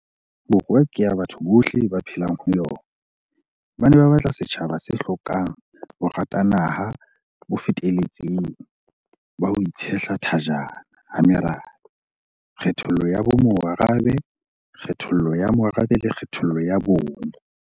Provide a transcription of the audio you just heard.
Borwa ke ya batho bohle ba phelang ho yona, ba ne ba batla setjhaba se hlokang boratanaha bo feteletseng ba ho itshehla thajana ha merabe, kgethollo ya bomorabe, kgethollo ya morabe le kgethollo ya bong.